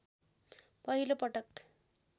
पहिलो पटक